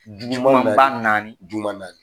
naani juma naani.